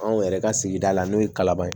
Anw yɛrɛ ka sigida la n'o ye kalaban ye